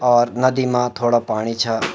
और नदी मा थोडा पाणी छ।